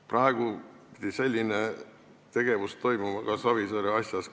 Praegu pidi selline tegevus toimuma ka Savisaare asjas.